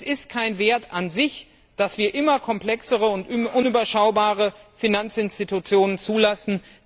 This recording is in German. Es ist kein Wert an sich, dass wir immer komplexere und unüberschaubare Finanzinstitutionen zulassen.